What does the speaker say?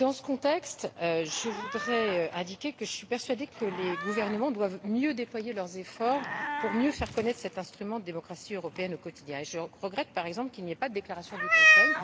Dans ce contexte, je suis persuadée que les gouvernements doivent mieux déployer leurs efforts pour mieux faire connaître cet instrument de démocratie européenne au quotidien et je regrette, par exemple, qu'il n'y ait pas de déclaration du Conseil.